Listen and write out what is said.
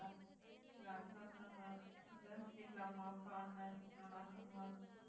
எல்லாரும் நல்ல இருக்காங்க அங்க வீட்டுல அம்மா அப்பா அண்ணன் நல்லா இருக்காங்களா